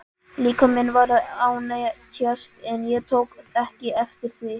Líkaminn var að ánetjast en ég tók ekki eftir því.